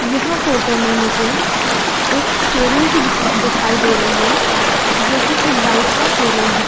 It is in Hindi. यह फोटो मे मुझे एक शोरूम की दिख दिखाई दे रही है जो की एक बाइक का शोरूम है।